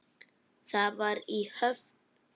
Það var í Höfn.